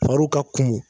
Fariw ka kumu